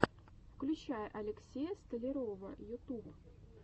включай алексея столярова ютуб